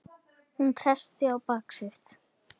Hún treysti á bak sitt.